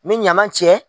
N bɛ ɲama cɛ